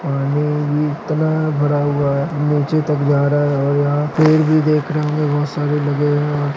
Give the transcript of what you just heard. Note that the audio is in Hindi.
पानी भी इतना भरा हुआ है नीचे तक जा रहा है और यहाँ पेड़ भी दिख रहे बहोत सारे लगे हैं यहाँ।